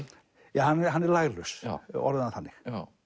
ja hann er laglaus við orðum það þannig